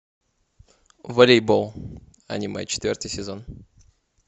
волейбол аниме четвертый сезон